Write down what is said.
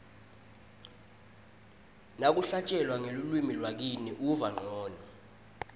nakuhlatjelwa ngelulwimi lakini uva ncono